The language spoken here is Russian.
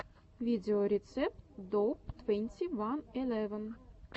видеорецепт доуп твенти ван элеван